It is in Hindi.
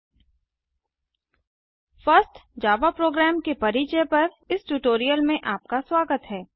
first Java program first Java program के परिचय पर इस ट्यूटोरियल में आपका स्वागत हैं